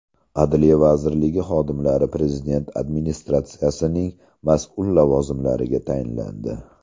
Adliya vazirligi xodimlari Prezident administratsiyasining mas’ul lavozimlariga tayinlandi.